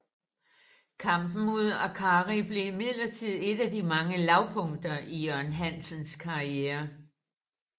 Kampen mod Arcari blev imidlertid et af de mange lavpunkter i Jørgen Hansens karriere